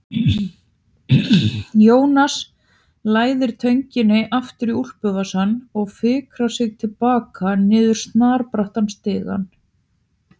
Jónas læðir tönginni aftur í úlpuvasann og fikrar sig til baka niður snarbrattan stigann.